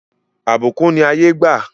Àbùkún ni ayé gbà.